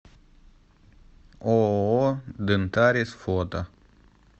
ооо дентарис фото